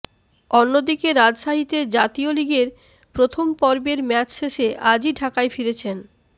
অন্যদিকে রাজশাহীতে জাতীয় লিগের প্রথম পর্বের ম্যাচ শেষে আজই ঢাকায় ফিরেছেন